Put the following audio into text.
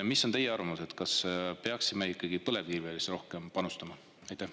Mis on teie arvamus, kas me peaksime ikkagi rohkem põlevkivisse panustama?